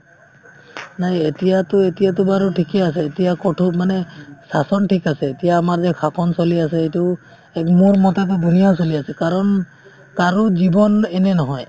নাই এতিয়াতো এতিয়াতো বাৰু ঠিকে আছে এতিয়া ক'তো মানে shasan ঠিক আছে এতিয়া আমাৰ যে শাসন চলি আছে এইটো এক মোৰমতেতো ধুনীয়া চলি আছে কাৰণ কাৰো জীৱন এনে নহয়